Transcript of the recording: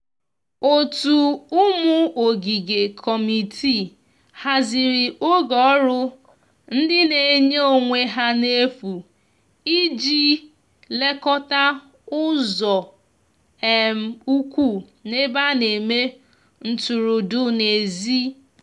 ótu ụmụ ogige/ kọmitịị hazịrị oge ọrụ ndi n'enye onwe ha n'efu ịji lekota ụzo um ukwu n'ebe ana eme ntụrụndụ n'ezi